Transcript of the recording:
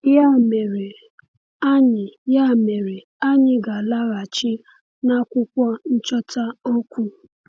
Ya mere, anyị Ya mere, anyị ga-alaghachi n’akwụkwọ nchọta okwu.